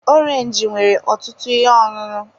Orange nwere ọtụtụ ihe ọṅụṅụ.